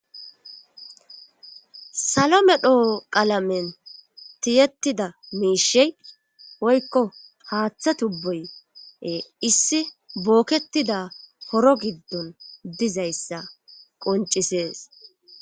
Salo medho qalamen tiyettida miishey woykko haaththa tubboye issi bookketida horo giddon dizayssa qoncisees